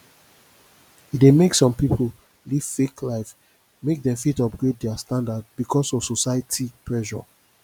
e dey mek som pipo live fake life mek dem fit upgrade dia standard bikos of society pressure